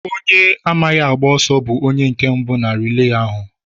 Onye amaghị agba ọsọ bú onye nke mbụ na rilee ahụ.